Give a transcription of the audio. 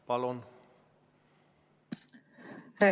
Palun!